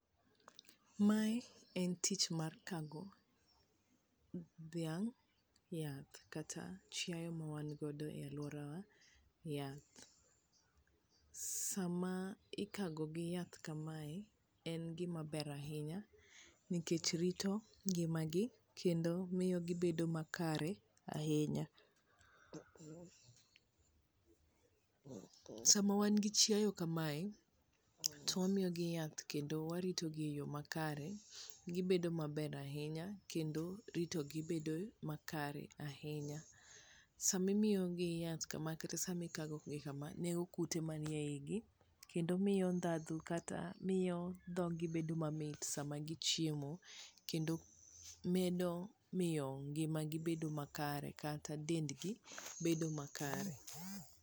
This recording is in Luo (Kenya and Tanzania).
Ma e en tich mar kago dhiang' yath kata chiayo ma wan godo e aluorawa yath, sama ikago goi yath kamae en gima ber ahinya ,nikech rito ngima gi kendo miyo gi bedo makare ahinya ,sama wan gi chaiayo kamae to wamiyo gi yath kendo warito gi e yo makare ,gibedo maber ahinya kendo rito gi bedo makare ahinya ,sami miyo gi yath kama kata sami kago gi kama nego kute mane igi kendo miyo ndandhu kata miyo dhogi bedo mamit sama gi chiemo kendo miyo medo ngima gi bedo makare kata dend gi bedo makare